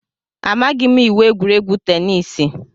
Amaghị m iwu egwuregwu teniisi.